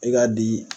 I ka di